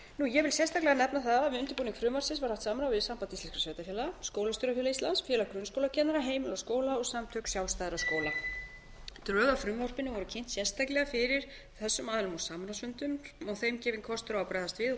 ég vil sérstaklega nefna það að við undirbúning frumvarpsins var haft samráð við samband íslenskra sveitarfélaga skólastjórafélag íslands félag grunnskólakennara heimili og skóla og samtök sjálfstæðra skóla drög að frumvarpinu voru kynnt sérstaklega fyrir þessum aðilum á samráðsfundum og þeim gefinn kostur á að bregðast við og koma með